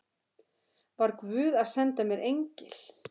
Var guð að senda mér engil?